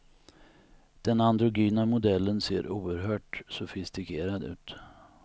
Den androgyna modellen ser oerhört sofistikerad ut.